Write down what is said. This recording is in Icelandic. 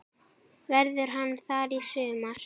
Verður hann þar í sumar?